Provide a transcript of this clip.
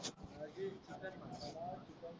हा लिह chicken masala chicken fry